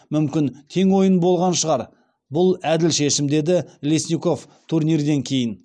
мүмкін тең ойын болған шығар бұл әділ шешім деді лесников турнирден кейін